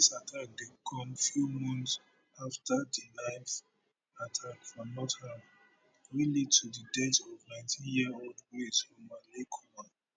dis attack dey come few months afta di knife attack for nottingham wey lead to di death of nineteen year old grace omalleykumar